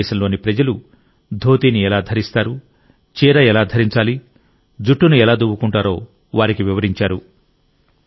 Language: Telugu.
భారతదేశంలోని ప్రజలు ధోతీని ఎలా ధరిస్తారు చీర ఎలా ధరించాలి జుట్టును ఎలా దువ్వుకుంటారో వారికి వివరించారు